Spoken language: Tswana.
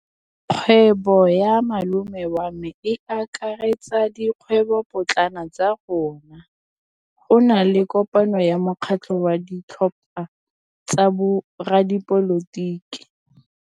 Kgwêbô ya malome wa me e akaretsa dikgwêbôpotlana tsa rona. Go na le kopanô ya mokgatlhô wa ditlhopha tsa boradipolotiki.